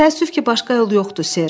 Təəssüf ki, başqa yol yoxdur, Ser.